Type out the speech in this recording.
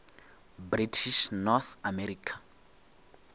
british north america